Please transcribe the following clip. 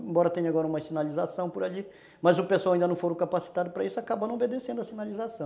Embora tenha agora uma sinalização por ali, mas o pessoal ainda não foram capacitados para isso, acabaram não obedecendo a sinalização.